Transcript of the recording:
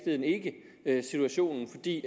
er situationen fordi